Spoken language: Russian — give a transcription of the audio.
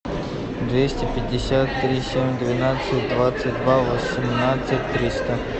двести пятьдесят три семь двенадцать двадцать два восемнадцать триста